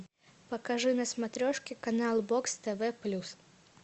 покажи на смотрешке канал бокс тв плюс